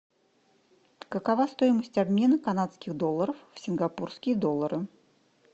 какова стоимость обмена канадских долларов в сингапурские доллары